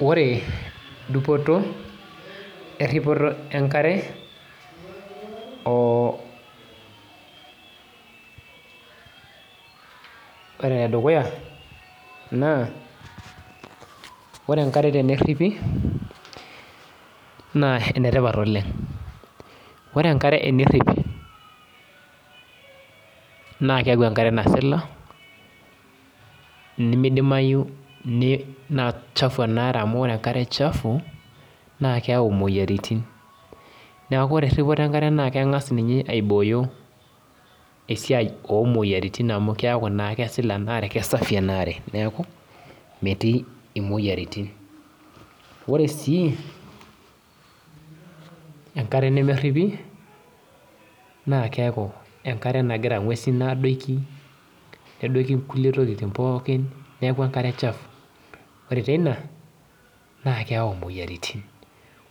Ore dupoto erripoto enkare, ore enedukuya, naa ore enkare tenerripi, naa enetipat oleng. Ore enkare enerripi, naa keeku enkare nasila, nimidimayu nachafu enaare amu ore enkare chafu, na keu moyiaritin. Neeku ore erripoto enkare na keng'as ninye aibooyo esiai omoyiaritin amu keku na kesila enaare, kesafi enaare. Neeku, metii imoyiaritin. Ore si, enkare nemerripi, na keeku enkare nagira ng'uesin adoki, nedoki inkulie tokiting pookin, neeku enkare chafu. Ore teina, naa keu moyiaritin.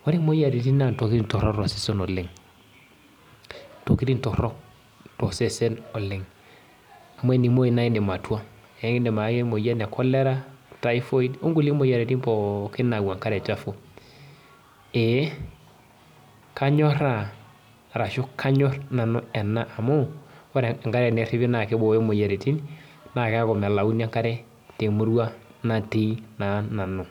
Ore moyiaritin naa ntokiting torrok tosesen oleng. Ntokiting torrok tosesen oleng. Amu enimoyu na idim atua. Ekidim aki emoyian e cholera, typhoid, onkulie moyiaritin akeyie pookin nau enkare chafu. Ee, kanyorraa arashu kanyor nanu ena amu, ore enkare enerripi na kibooyo moyiaritin, na keku melauni enkare temurua natii naa nanu.